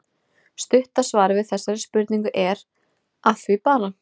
Stutta svarið við þessari spurningu er: Að því bara!